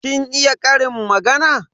Kin iya ƙarin magana?